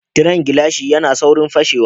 Tiren gilashi zai yi saurin fashewa